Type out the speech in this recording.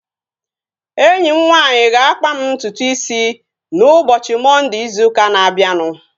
Enyi m nwanyị ga-akpa m ntutu isi m ụbọchị Mọnde izu ụka na-abịanụ